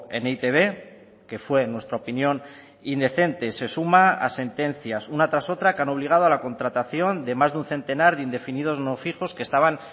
en e i te be que fue en nuestra opinión indecente se suma a sentencias una tras otra que han obligado a la contratación de más de un centenar de indefinidos no fijos que estaban